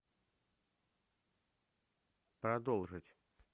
продолжить